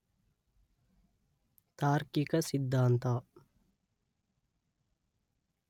ತಾರ್ಕಿಕ ಸಿದ್ಧಾಂತ